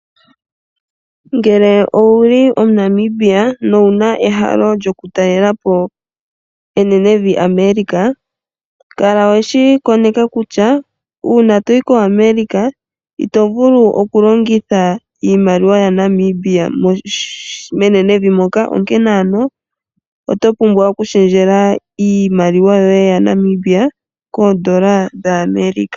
Ngele owuli omuNamibia nowuna ehalo lyoku talelapo enene vi America kala weshi koneka kutya uuna toyi koAmerica ito vulu oku longitha iimaliwa yaNamibia menene vi moka onkene oto pumbwa oku shendjela iimaliwa yoye yaNamibia koondola dhaAmerica.